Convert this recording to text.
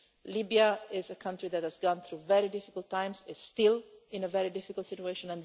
Libya is a country that has gone through very difficult times and is still in a very difficult situation.